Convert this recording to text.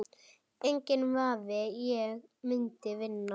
Enginn vafi, ég myndi vinna